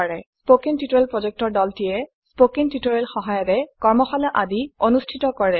কথন শিক্ষণ প্ৰকল্পৰ দলটিয়ে কথন শিক্ষণ সহায়িকাৰে কৰ্মশালা আদি অনুষ্ঠিত কৰে